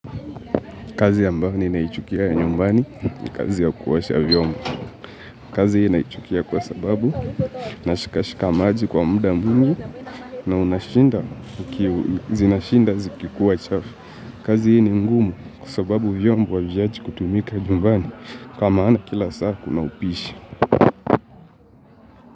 Kazi ambayo ninaichukia ya nyumbani, ni kazi ya kuosha vyombo. Kazi hii naichukia kwa sababu na shikashika maji kwa muda mwingi na unashinda zina shinda zikikuwa chafu. Kazi hii ni ngumu kwa sababu vyombo ha viachi kutumika nyumbani kwa maana kila saa kuna upishi.